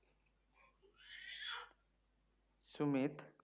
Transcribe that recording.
Sumit